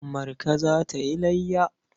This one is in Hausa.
Marka za ta yi layya.